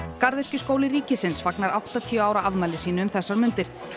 garðyrkjuskóli ríkisins fagnar áttatíu ára afmæli sínu um þessar mundir